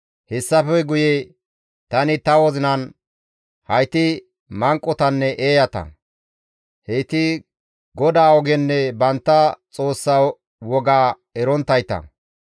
Hessafe guye tani ta wozinan, «Hayti manqotanne eeyata; heyti GODAA ogenne bantta Xoossa woga eronttayta.